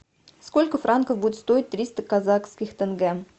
сколько франков будет стоить триста казахских тенге